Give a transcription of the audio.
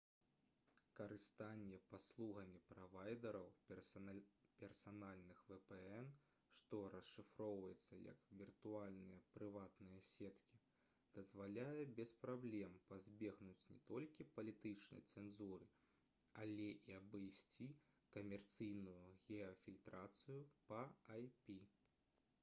карыстанне паслугамі правайдэраў персанальных vpn што расшыфроўваецца як «віртуальныя прыватныя сеткі» дазваляе без праблем пазбегнуць не толькі палітычнай цэнзуры але і абыйсці камерцыйную геафільтрацыю па ip